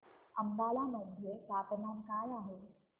अंबाला मध्ये तापमान काय आहे